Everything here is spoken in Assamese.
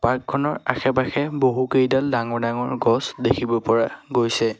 পাৰ্ক খনৰ আশে পাশে বহুত কেইডাল ডাঙৰ ডাঙৰ গছ দেখিব পৰা গৈছে।